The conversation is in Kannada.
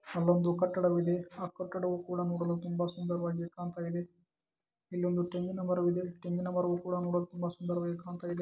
ಅಲ್ಲೊಂದು ಕಟ್ಟಡವಿದೆ ಕಟ್ಟಡ ನೋಡಲು ಸುಂದರವಾಗಿಕಾಣ್ತಾ ಇದೆ ಇಲ್ಲೊಂದು ತೆಂಗಿನ ಮರವಿದೆ ತೆಂಗಿನ ಮರ ನೋಡಲು ಸುಂದರವಾಗಿ ಕಾಣ್ತಾ ಇದೆ .